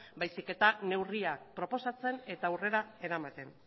baizik eta neurriak proposatzen eta aurrera eramaten